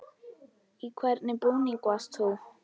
Í hvernig búningi varst þú?